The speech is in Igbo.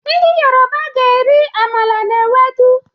Ndi Yoruba ga-eri amala na ewedu